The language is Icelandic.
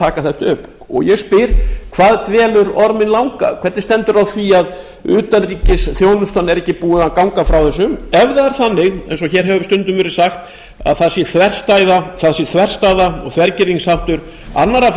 að taka þetta upp ég spyr hvað dvelur orminn langa hvernig stendur á því að utanríkisþjónustan er ekki búin að ganga frá þessu ef það er svo eins og hér hefur stundum verið sagt að það sé þverstæða og þvergirðingsháttur annarra